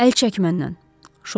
Əl çəkmə məndən.